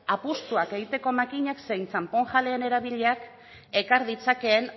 apustuak egiteko makinak zein txanponjaleen erabilerak ekar ditzakeen